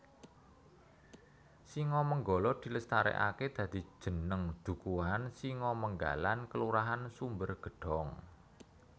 Singomenggala dilestareake dadi jeneng dukuhan Singomenggalan Kelurahan Sumbergedong